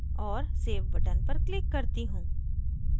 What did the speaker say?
और save button पर click करती हूँ